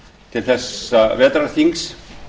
til þessa vetrarþings